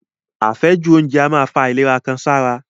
Àfẹ́jù oúnjẹ a máa fa àwọn àìlera kan sára.